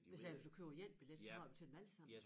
Hvis altså du køber én billet så har du til dem alle sammen